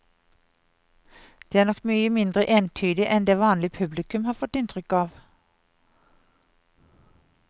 Den er nok mye mindre entydig enn det vanlige publikum har fått inntrykk av.